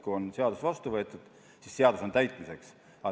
Kui seadus on vastu võetud, siis see on täitmiseks.